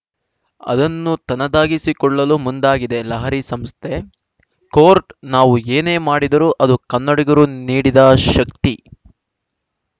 ಅದನ್ನು ತನ್ನದಾಗಿಸಿಕೊಳ್ಳಲು ಮುಂದಾಗಿದೆ ಲಹರಿ ಸಂಸ್ಥೆ ಕೋರ್ಟ್ ನಾವು ಏನೇ ಮಾಡಿದ್ದರೂ ಅದು ಕನ್ನಡಿಗರು ನೀಡಿದ ಶಕ್ತಿ